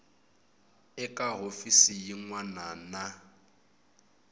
eka hofisi yin wana na